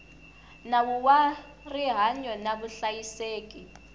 nawu wa rihanyo na vuhlayiseki